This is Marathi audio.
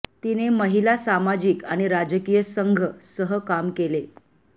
तिने महिला सामाजिक आणि राजकीय संघ सह काम केले